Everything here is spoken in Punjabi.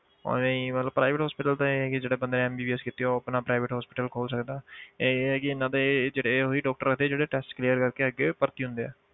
ਉਵੇਂ ਹੀ ਮਤਲਬ private hospital ਤਾਂ ਇਹ ਹੈ ਕਿ ਜਿਹੜੇ ਬੰਦੇ ਨੇ MBBS ਕੀਤੀ ਆ ਉਹ ਆਪਣਾ private hospital ਖੋਲ ਸਕਦਾ ਹੈ ਇਹ ਇਹ ਆ ਕਿ ਇਹਨਾਂ ਦੇ ਜਿਹੜੇ ਉਹੀ doctor ਆਉਂਦੇ ਜਿਹੜੇ test clear ਕਰਕੇ ਅੱਗੇ ਭਰਤੀ ਹੁੰਦੇ ਆ।